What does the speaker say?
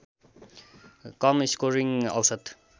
कम scoring औसत